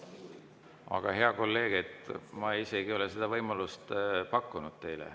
Aga, hea kolleeg, ma isegi ei ole seda võimalust teile pakkunud.